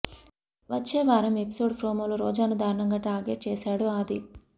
వచ్చే వారం ఎపిసోడ్ ప్రోమోలో రోజాను దారుణంగా టార్గెట్ చేసాడు ఆది